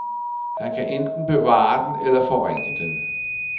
Han kan enten bevare den eller forringe den.